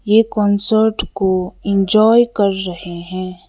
ए concert को enjoy कर रहे हैं।